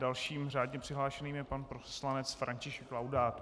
Dalším řádně přihlášeným je pan poslanec František Laudát.